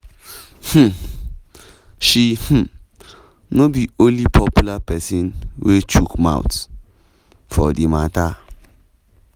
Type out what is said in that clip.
um she um no be di only popular pesin wey chook mouth for di mata.